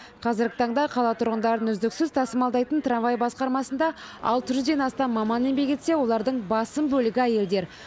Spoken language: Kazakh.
қазіргі таңда қала тұрғындарын үздіксіз тасымалдайтын трамвай басқармасында алты жүзден астам маман еңбек етсе олардың басым бөлігі әйелдер